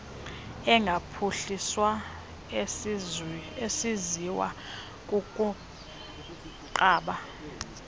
engaphuhliswa esenziwa kukunqaba